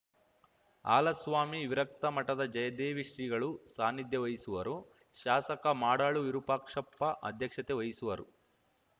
ಹಾಲಸ್ವಾಮಿ ವಿರಕ್ತ ಮಠದ ಜಯದೇವ ಶ್ರೀಗಳು ಸಾನಿಧ್ಯ ವಹಿಸುವರು ಶಾಸಕ ಮಾಡಾಳು ವಿರೂಪಾಕ್ಷಪ್ಪ ಅಧ್ಯಕ್ಷತೆ ವಹಿಸುವರು